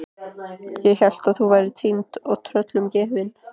Ég hélt að þú værir týnd og tröllum gefin.